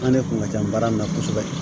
An de kun ka ca baara in na kosɛbɛ